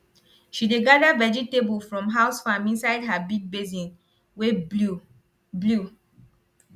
she dey gather vegetable from house farm inside her big basin wey blue blue